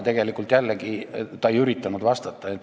Tegelikult ta jällegi ei üritanud vastata.